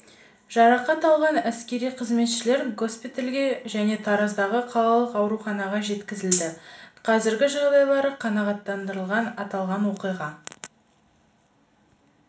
жарақат алған әскери қызметшілер госпиталге және тараздағы қалалық ауруханаға жеткізілді қазіргі жағдайлары қанағаттанарлық аталған оқиға